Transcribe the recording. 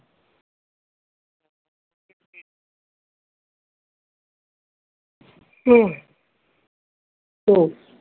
ও